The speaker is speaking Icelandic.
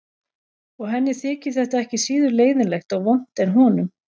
Og henni þyki þetta ekki síður leiðinlegt og vont en honum.